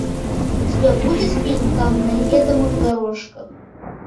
у тебя будет фильм там на неведомых дорожках